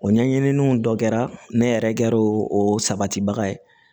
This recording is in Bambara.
O ɲɛɲiniiniw dɔ kɛra ne yɛrɛ kɛra o sabatibaga ye